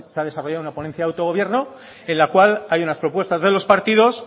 ha desarrollado una ponencia de autogobierno en la cual hay unas propuestas de los partidos